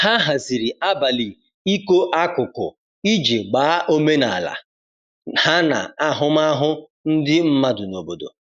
ha haziri abali iko akụkụ iji gbaa omenala ha na ahụmahụ ndi madụ n'obodo